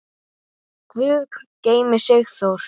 Guð geymi Sigþór.